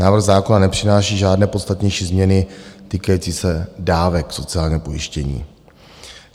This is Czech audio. Návrh zákona nepřináší žádné podstatnější změny týkající se dávek sociálního pojištění.